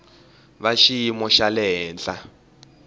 va xiyimo xa le henhla